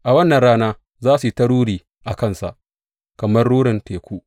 A wannan rana za su yi ta ruri a kansa kamar rurin teku.